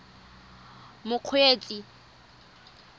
mokgweetsi